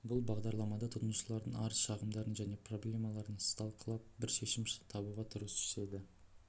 бұл бағдарламада тұтынушылардың арыз-шағымдарын және проблемаларын сталқылап бір шешім табуға тырысушы еді